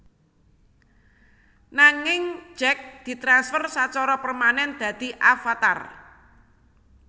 Nanging Jake ditransfer sacara permanen dadi avatar